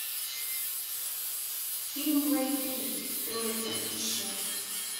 фильм блэйд три троица ищи